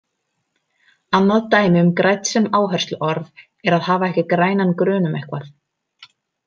Annað dæmi um grænn sem áhersluorð er að hafa ekki grænan grun um eitthvað.